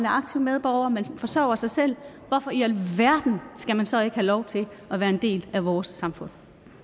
aktiv medborger forsørger sig selv hvorfor i alverden skal man så ikke have lov til at være en del af vores samfund